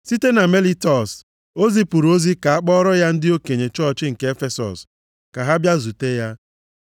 Site na Melitọs, ọ zipụrụ ozi ka a kpọọrọ ya ndị okenye chọọchị nke Efesọs ka ha bịa zute ya.